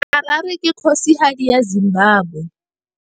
Harare ke kgosigadi ya Zimbabwe.